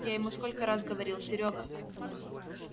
я ему сколько раз говорил серёга